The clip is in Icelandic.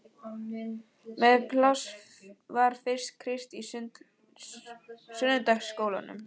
Mest pláss var fyrir Krist í sunnudagaskólanum.